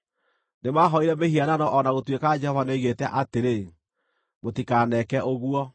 Nĩmahooire mĩhianano o na gũtuĩka Jehova nĩoigĩte atĩrĩ, “Mũtikaneke ũguo.”